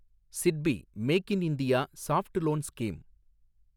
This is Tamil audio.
SIDBI make in India soft loan scheme